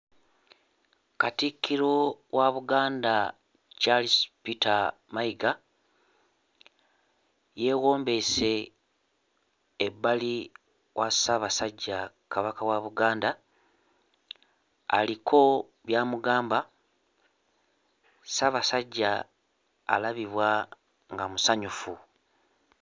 Katikkiro wa Buganda Charles Peter Mayiga yeewombeese ebbali wa Ssaabasajja Kabaka wa Buganda aliko by'amugamba Ssaabasajja alabibwa nga musanyufu.